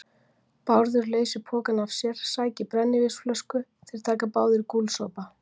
Bárður leysir pokann af sér, sækir brennivínsflösku, þeir taka báðir gúlsopa.